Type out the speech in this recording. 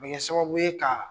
a bɛ kɛ sababu ye ka.